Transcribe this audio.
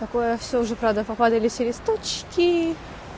такое всё уже правда попадали все листочки